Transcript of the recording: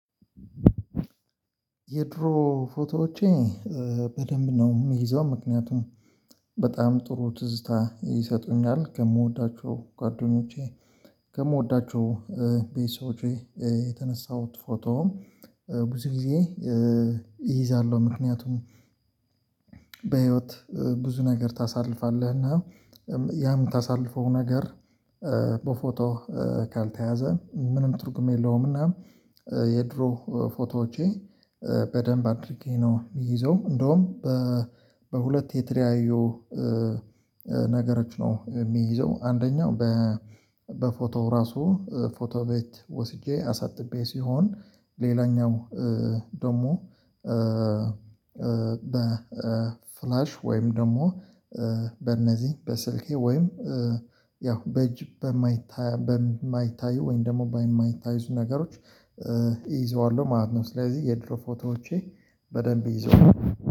የድሮ ፎቶዎቼ በደንብ ነው የምይዘው ምክንያቱም በጣም ጥሩ ትዝታ ይሰጡኛል። ከምወዳቸው ጓደኞቼ፤ ከምወዳቸው የተነሳሁት ፎቶ ብዙ ጊዜ ይይዛለሁ ምክንያቱም በህይወት ብዙ ነገር ታሳልፋለህ እና ያ የምታሳልፈው ነገር በፎቶ ካልተያዘ ምንም ትርጉም የለውም። እና የድሮ ፎቶዎቼ በደንብ አድርጌ ነው የሚይዘው። እንደውም በሁለት የተለያዩ ነገሮች ነው የሚይዘው፤ አንደኛው በፎቶ ራሱ ፎቶ ቤት ወስጄ አሳጥቤ ሲሆን፤ ሌላኛው ደግሞ በፍላሽ ወይም ደግሞ፤ በእነዚህ በስልኬ ወይም ያው በእጅ በማይታይ ወይም ደግሞ በማይታይዙ ነገሮች እይዘዋለሁ ማለት ነው። ስለዚህ የድሮ ፎቶዎቼ በደንብ ይዞዋለው።